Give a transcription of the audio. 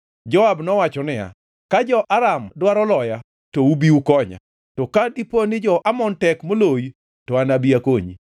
Joab nowacho niya, “Ka jo-Aram dwaro loya, to ubi ukonya, to ka diponi jo-Amon tek moloyi, to anabi akonyi.